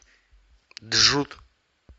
джуд